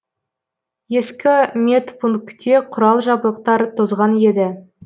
ескі медпунктте құрал жабдықтар тозған еді